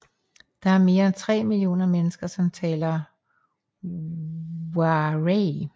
Der er mere end 3 millioner mennesker som talerer Waray